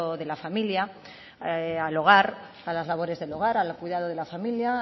de la familia al hogar a las labores del hogar al cuidado de la familia